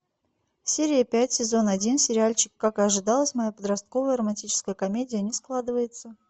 серия пять сезон один сериальчик как и ожидалось моя подростковая романтическая комедия не складывается